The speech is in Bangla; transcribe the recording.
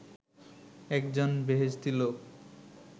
একজন বেহেশতি লোক